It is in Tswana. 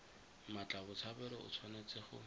mmatla botshabelo o tshwanetse go